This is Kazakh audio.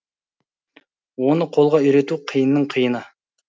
оны қолға үйрету қиынның қиыны